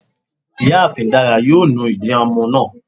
Ìyáàfín Dara yóò nù idì ọmọ náà